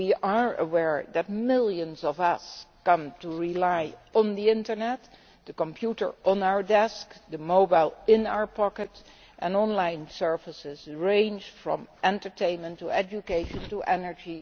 We are aware that millions of us have come to rely on the internet, the computer on our desk, the mobile phone in our pocket and online services ranging from entertainment to education or energy.